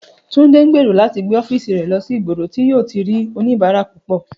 Túndé ń gbèrò láti gbé ó̩fíìsì rè̩ lo̩ sí ìgboro tí yóò ti rí oníbàárà púpò̩